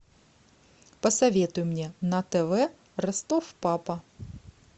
посоветуй мне на тв ростов папа